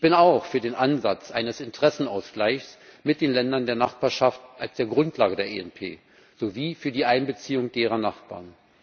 Ich bin auch für den Ansatz eines Interessenausgleichs mit den Ländern der Nachbarschaft als Grundlage der ENP sowie für die Einbeziehung von deren Nachbarn.